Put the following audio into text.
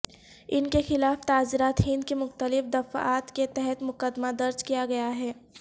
ان کے خلاف تعزیرات ہند کی مختلف دفعات کے تحت مقدمہ درج کیا گیا ہے